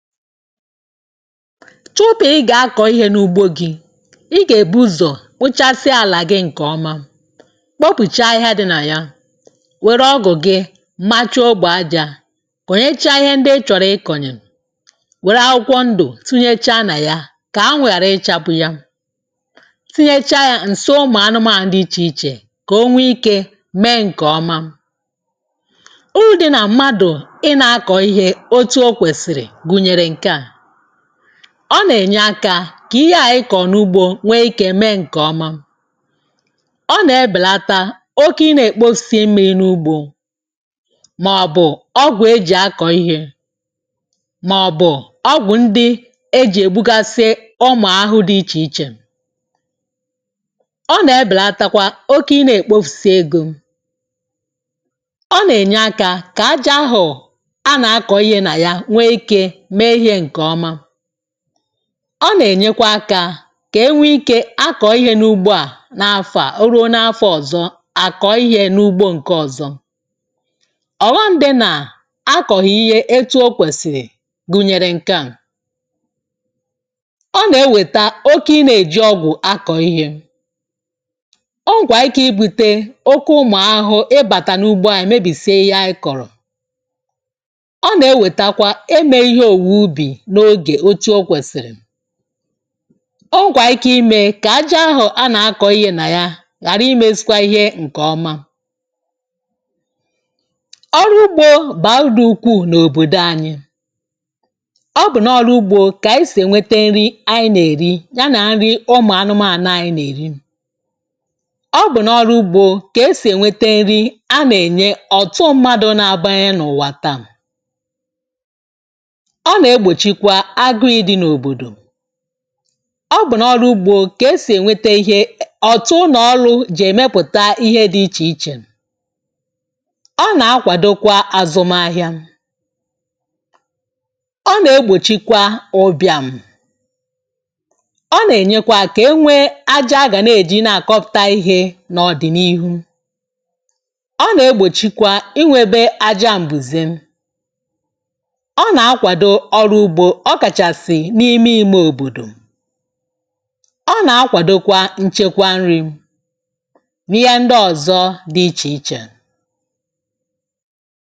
chụpụ̀ ịgà akọ̀ ihe n’ugbo gị̇ ịgà èbu ụzọ̀ pụchasịa àlà gị ǹkè ọma eh kpọpụ̀cha ahịhịa dị̇ nà ya wère ọgụ̀ gị macha ogbò ah ajȧ kònyecha ihe ndị ị chọ̀rọ̀ ikònyè wère ụkwọ ndụ̀ tinyecha nà ya kà anwụ̀ ghàra ịchapụ ya um tinyecha yȧ ǹso ụmụ̀ anụmȧȧ dị ichè ichè kà o nwe ikė mee ǹkè ọma. uru̇ dị nà mmadù ịnȧ akọ̀ ihe otu okwèsìrì ah ọ nà-ènyeakȧ kà ihe à ịkọ̀ n’ugbȯ nwee ikė mee ǹkè ọma ọ nà-ebèlata oke ị nà-èkpofisi mmà n’ugbȯ màọ̀bụ̀ ọgwụ̀ e jì akọ̀ ihė eh màọ̀bụ̀ ọgwụ̀ ndị e jì ègbugasị ụmụ̀ahụ̀ dị ichè ichè ọ nà-ebèlatakwa oke ị nà-èkpofisi egȯ ah ọ nà-ènyeakȧ kà ajȧ ahụ̀ a nà-akọ̀ ihe nà ya. ọ nà-ènyekwa aka kà enwe ikė akọ̀ ihe n’ugbo à n’afọ̇ à um o ruo n’afọ̇ ọ̀zọ à kọ̀ọ ihė n’ugbo ǹke ọ̀zọ. ọ̀ghọm dị nà akọ̀ghị ihe etu okwèsì gụ̀nyèrè ǹke à eh ọ nà-eweta oke ịnȧ-èji ọgwụ̀ akọ̀ ihe o nwèrè ike ibute oke ụmụ̀ ahụ̇ ịbàtà n’ugbo à ah èmebìsie ihe à ị kọ̀rọ̀ ọgwà ike imė kà aja ahụ̀ a nà-akọ̇ ihe nà ya ghàra imėsikwa ihe ǹkè ọma. ọrụ ugbȯ bàra urù ukwuù n’òbòdò anyị̇ ọ bụ̀ n’ọrụ ugbȯ kà isì èwete nri anyị nà-èri eh ya nà nri ụmụ̀ anụmȧlà anyị nà-èri ọ bụ̀ n’ọrụ ugbȯ kà esì èwete nri a nà-ènye ọ̀tụ mmadụ̇ na-abanyenụ̇ wàta ah. ọ bụ̀ n’ọrụ ugbȯ kà esì ènwete ihe ọ̀tụ n’ọlụ̇ jì èmepụ̀ta ihe dị̇ ichè ichè ọ nà-akwàdokwa azụmahịa um ọ nà-egbòchikwa ụbị̇à mụ̀ ọ nà-ènyekwa kà enwee aja gà na-èji na-àkọpụta ihe n’ọ̀dị̀nihu eh. ọ nà-egbòchikwa inwėbė aja m̀bùzè ọ na-akwadokwa nchekwa nri̇ ah n’ihe ndị ọzọ̇ dị ichè ichè.